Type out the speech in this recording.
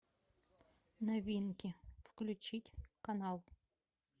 новинки включить канал